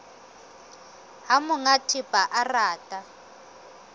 ha monga thepa a rata